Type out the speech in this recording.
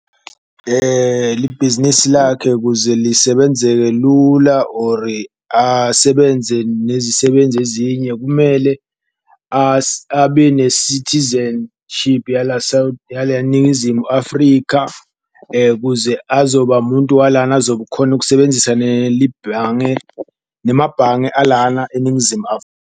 Libhizinisi lakhe kuze lisebenzeke lula or asebenze nezisebenzi ezinye kumele abene-citizenship yala yala eNingizimu Afrika. Kuze azoba muntu walana azokukhona ukusebenzisa nelibhange nemabhange alana eNingizimu .